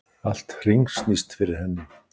Allt hringsnýst fyrir henni.